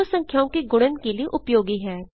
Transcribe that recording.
दो संख्याओं के गुणन के लिए उपयोगी है